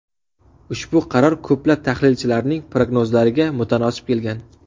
Ushbu qaror ko‘plab tahlilchilarning prognozlariga mutanosib kelgan.